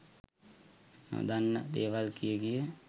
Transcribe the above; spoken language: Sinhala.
නොදන්න දේවල් කිය කිය